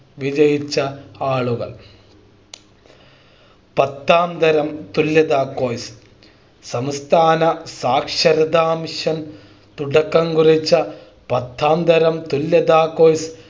വിജയിച്ച ആളുകൾ പത്താംതരം തുല്യതാ Course സംസ്ഥാന സാക്ഷരതാ മിഷൻ തുടക്കം കുറിച്ച പത്താംതരം തുല്യതാ Course